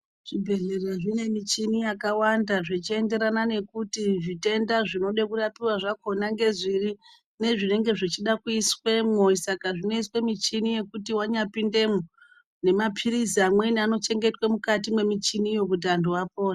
Zvibhedhlera zvine muchini yakawanda zvichienderana nekuti zvitenda zvinoda kurapiwa zvakhona ngezviri nezvinenge zvichida kuiswemo saka zvinoiswa muchini yekuti wanyapindemo nemapirizi amweni anochengetwa mukati mwemichiniyo kuti vantu vapore.